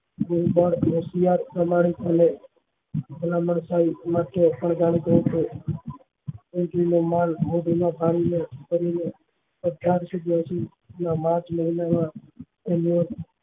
Lincoln હોશિયાર માણસ ને ભલામણ થઇ એંથી એમને